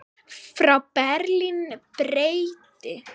Frá Berlín breiddi